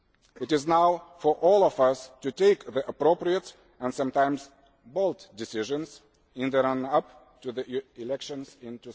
It is now for all of us to take the appropriate and sometimes bold decisions in the run up to the elections in